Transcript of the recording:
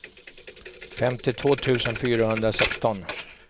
femtiotvå tusen fyrahundrasexton